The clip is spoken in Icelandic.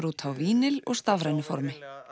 út á vínil og stafrænu formi